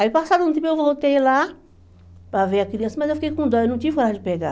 Aí, passado um tempo, eu voltei lá para ver a criança, mas eu fiquei com dó, eu não tive coragem de pegar.